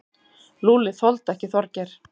Lúlli þoldi ekki Þorgeir.